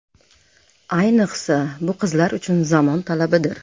Ayniqsa, bu qizlar uchun zamon talabidir .